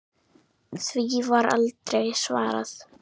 Því var aldrei svarað.